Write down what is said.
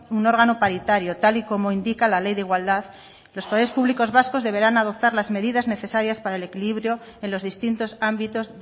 un órgano paritario tal y como indicar la ley de igualdad los poderes públicos vascos deberán adoptar las medidas necesarias para el equilibrio en los distintos ámbitos